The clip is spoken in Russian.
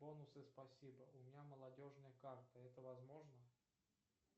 бонусы спасибо у меня молодежная карта это возможно